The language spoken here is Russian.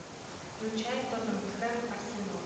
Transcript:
включай тоттенхэм арсенал